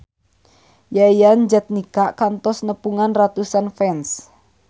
Yayan Jatnika kantos nepungan ratusan fans